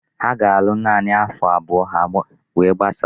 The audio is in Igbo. Ha ga-alụ naanị afo abụọ we gbasaa.